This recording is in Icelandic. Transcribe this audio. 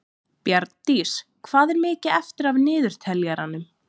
Bjarndís, hvað er mikið eftir af niðurteljaranum?